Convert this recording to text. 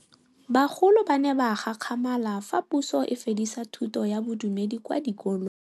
Bagolo ba ne ba gakgamala fa Pusô e fedisa thutô ya Bodumedi kwa dikolong.